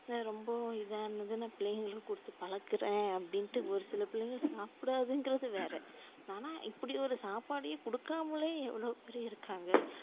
ரொம்பவும் இத இருந்துச்சுன்னா நா பிள்ளைகளுக்கு குடுத்து பழக்குறேன் அப்டின்டு ஒருசில பிள்ளைங்க சாப்டாதுன்றது வேற ஆனா இப்டி ஒரு சாப்பாட்டையே குடுக்காமலேயே எவ்ளவோபேர் இருக்காங்க